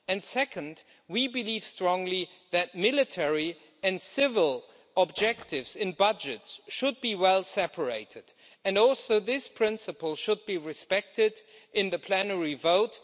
Second, we believe strongly that military and civil objectives in budgets should be well separated, and this principle should also be respected in the plenary vote.